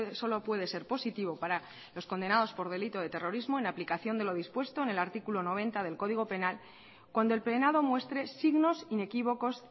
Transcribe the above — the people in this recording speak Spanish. solo puede ser positivo para los condenados por delito de terrorismo en aplicación de lo dispuesto en el artículo noventa del código penal cuando el penado muestre signos inequívocos